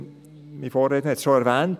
Mein Vorredner hat es erwähnt: